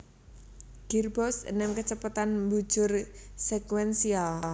Girboks enem kecepatan membujur sekuensial